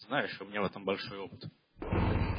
знаешь у меня в этом большой опыт